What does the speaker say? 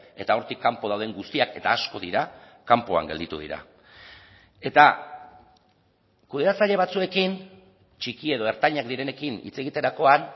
eta hortik kanpo dauden guztiak eta asko dira kanpoan gelditu dira eta kudeatzaile batzuekin txiki edo ertainak direnekin hitz egiterakoan